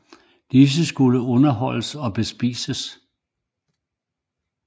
Disse skulle også underholdes og bespises